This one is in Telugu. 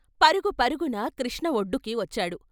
పరుగు పరుగున కృష్ణ వొడ్డుకి వచ్చాడు.